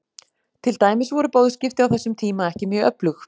Til dæmis voru boðskipti á þessum tíma ekki mjög öflug.